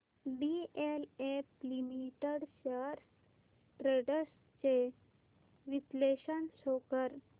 DLF limited shares trends चे विश्लेषण show कर